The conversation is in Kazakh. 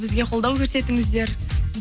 бізге қолдау көрсетіңіздер